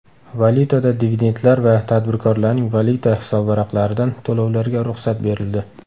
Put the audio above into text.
Valyutada dividentlar va tadbirkorlarning valyuta hisobvaraqlaridan to‘lovlarga ruxsat berildi.